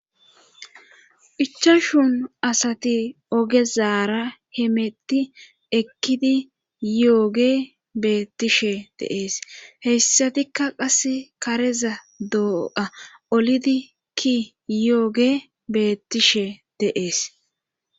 ichashun asati ogezaara hemetti ekkidi yooge beettishe deees heyssatikka qas kareza doo7a olidi ki yooge beettishe deees